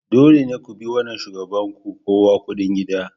Dole ne ku bi wannan shugaban ku kawo kudi gida.